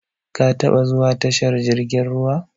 Ka taɓa zuwa tashar jirkin ruwa?